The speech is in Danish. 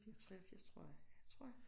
83 tror jeg tror jeg